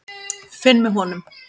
Finn með honum.